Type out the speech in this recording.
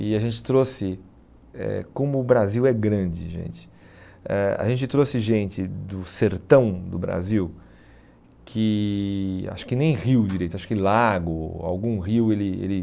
E a gente trouxe eh, como o Brasil é grande, gente, eh a gente trouxe gente do sertão do Brasil, que acho que nem rio direito, acho que lago, algum rio ele ele